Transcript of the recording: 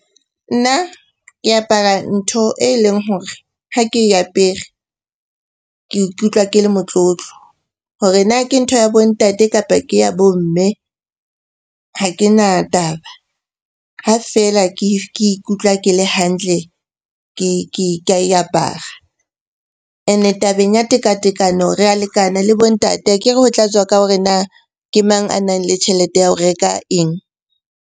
Nna ke apara ntho e leng hore ha ke e apere ke ikutlwa ke le motlotlo. Hore na ke ntho ya bo ntate, kapa ke ya bo mme ha ke na taba. Ha feela ke ikutlwa ke le hantle ka e apara. Ene tabeng ya tekatekano re a lekana le bo ntate, akere ho tla tswa ka hore na ke mang a nang le tjhelete ya ho reka eng?